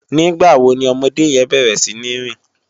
Nigbá wó ni òmòdé yèn bèrè sini rin?